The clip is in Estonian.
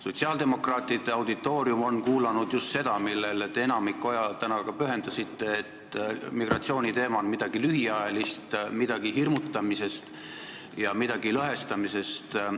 Sotsiaaldemokraatide auditoorium on kuulanud just seda, millele te ka täna enamiku ajast pühendasite, nimelt, migratsiooniteema on midagi lühiajalist, midagi hirmutamisest ja midagi lõhestamisest.